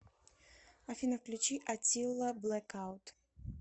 афина включи атилла блэкаут